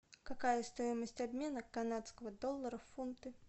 какая стоимость обмена канадского доллара в фунты